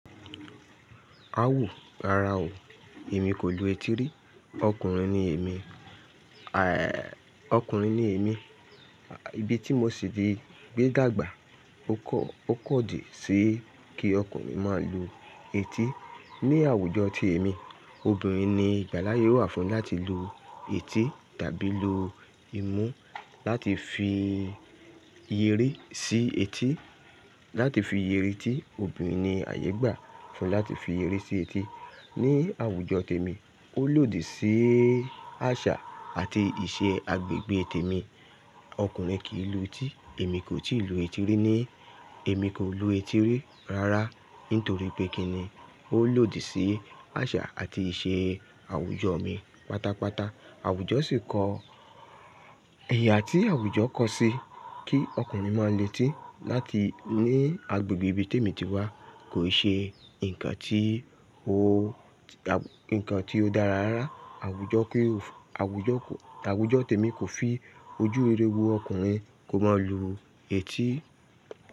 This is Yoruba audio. Awo rara o, èmi kò lo eti rí. Okùnrin ni èmi,, okùnrin ni èmi. Ibi tí mo ti sì gbé dàgbà, o kọ, o pKọ̀ dí sí kí okùnrin má lo eti. Ni àwùjọ ti èmi, obìnrin ni ìgbàláyé wà fún láti lu eti tàbí lu imú láti fi eyere sí eti, láti fi eyere tí obìnrin ni àyè gbà fún láti fi eyere sí eti. Ni àwùjọ tèmi, o lòdì sí àṣà àti ìṣe agbègbè tèmi. Okùnrin kì í lo eti, èmi kò tíì lo eti rí ni, èmi kò lo eti rí rárá nítorí pé kíni o lòdì sí àṣà àti ìṣe àwùjọ mi pátápátá. Àwùjọ sì kọ ẹyà tí àwùjọ kọ sí kí okùnrin máa le tí láti ní agbègbè ibi tèmi tí wà kò ṣe ǹkan tí o, ǹkan tí o dára rárá. Àwùjọ pé, àwùjọ kò, àwùjọ tèmi kò fi ojú rere wo okùnrin kò mọ́ lu eti.